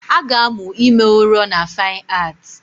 A ga-amụ ime ụrọ na Fine Art